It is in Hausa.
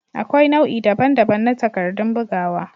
Akwai nau'i daban-daban na takardun bugawa.